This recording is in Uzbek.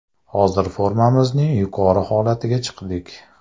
Hozir formamizning yuqori holatiga chiqdik.